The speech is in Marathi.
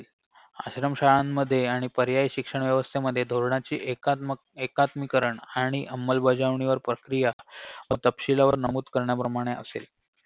आश्रम शाळांमध्ये आणि पर्यायी शिक्षण व्यवस्थेमध्ये धोरणाची एकाम्त एकात्मीकरण अंमलबजावणीवर प्रक्रिया तपशीलवार नमूद करण्याप्रमाणे असेल